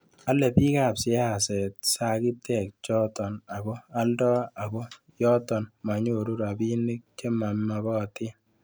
ole bikap siaset sagitek choto ago alda ako yoto menyoru robinik chemamagatin